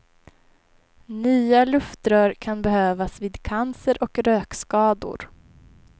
Nya luftrör kan behövas vid cancer och rökskador.